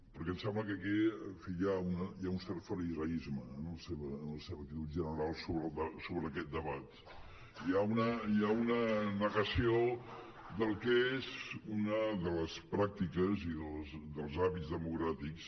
perquè em sembla que aquí en fi hi ha un cert fariseisme en la seva actitud general sobre aquest debat hi ha una negació del que és una de les pràctiques i dels hàbits democràtics